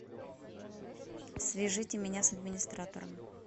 свяжите меня с администратором